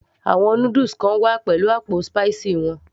àwọn noodles kan wá pẹ̀lú àpò spicy wọn